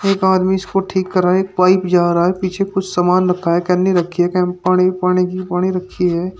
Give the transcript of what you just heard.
एक आदमी इसको ठीक कराने पाइप जा रहा है पीछे कुछ सामान रखा है केनी रखी है पाणी पाणी की पाणी रखी है।